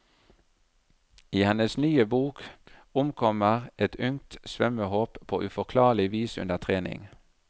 I hennes nye bok omkommer et ungt svømmehåp på uforklarlig vis under trening.